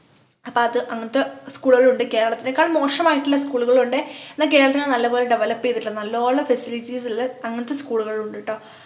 അപ്പൊ അത് അങ്ങനത്തെ school കളും ഉണ്ട് കേരളത്തിനേക്കാൾ മോശമായിട്ടുള്ള school കളും ഉണ്ട് എന്ന കേരളത്തില് നല്ല പോലെ develop ചെയ്തിട്ടുള്ള നല്ല പോലെ facilities ഉള്ള അങ്ങനത്തെ school കളും ഉണ്ട് ട്ടോ